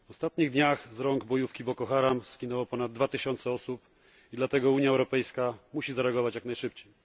W ostatnich dniach z rąk bojówki Boko Haram zginęło ponad 2 tysiące osób i dlatego Unia Europejska musi zareagować jak najszybciej.